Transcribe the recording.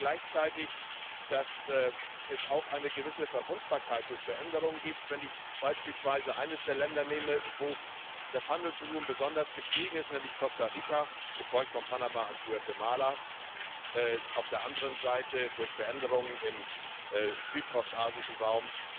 Wir sehen gleichzeitig, dass es auch eine gewisse Verwundbarkeit durch Veränderung gibt, wenn ich beispielsweise eines der Länder nehme, wo das Handelsvolumen besonders gestiegen ist, nämlich Costa Rica, gefolgt von Panama und Guatemala, wo auf der anderen Seite durch Veränderungen im südost asiatischen Raum